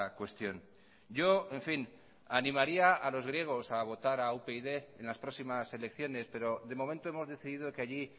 cuestión yo en fin animaría a los griegos a votar a upyd en las próximas elecciones pero de momento hemos decidido que allí